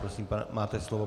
Prosím, máte slovo.